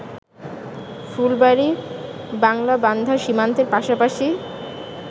ফুলবাড়ি-বাংলাবান্ধা সীমান্তের পাশাপাশি